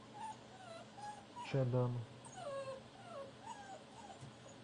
чадану